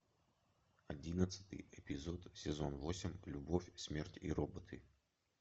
одиннадцатый эпизод сезон восемь любовь смерть и роботы